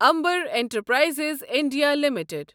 Amber enterprises India limited